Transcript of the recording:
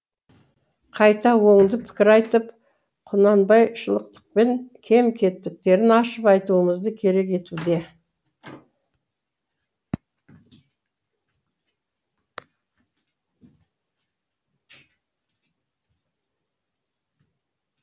қайта оңды пікір айтып құнанбайшылдықпен кем кетіктерін ашып айтуымызды керек етуде